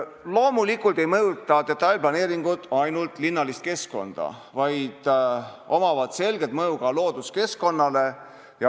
Loomulikult ei mõjuta detailplaneeringud ainult linnalist keskkonda, vaid neil on selge mõju ka looduskeskkonnale.